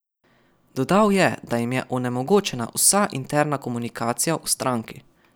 Dodal je, da jim je onemogočena vsa interna komunikacija v stranki.